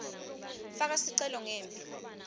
faka sicelo ngembi